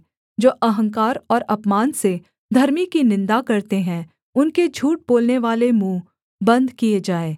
जो अहंकार और अपमान से धर्मी की निन्दा करते हैं उनके झूठ बोलनेवाले मुँह बन्द किए जाएँ